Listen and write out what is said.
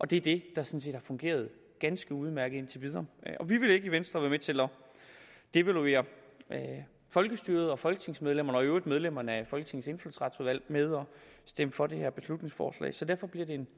det er det der sådan set fungeret ganske udmærket indtil videre vi vil ikke i venstre være med til at devaluere folkestyret og folketingsmedlemmerne og i øvrigt medlemmerne af folketingets indfødsretsudvalg ved at stemme for det her beslutningsforslag så derfor bliver det